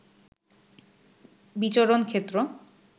বিচরণ ক্ষেত্র